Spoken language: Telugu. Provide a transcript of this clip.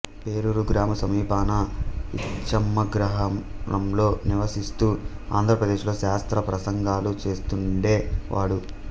పేరూరు గ్రామ సమీపాన యిచ్చమ్మగ్రహారంలో నివాసిస్తూ ఆంధ్రదేశంలో శాస్త్ర ప్రసంగాలు చేస్తుండే వాడు